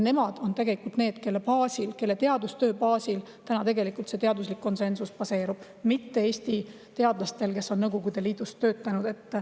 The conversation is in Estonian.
Nemad on tegelikult need, kelle teadustöö baasil täna see teaduslik konsensus baseerub, mitte Eesti teadlastelt, kes on Nõukogude Liidus töötanud.